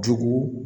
Jogo